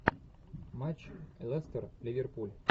матч лестер ливерпуль